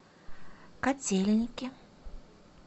котельники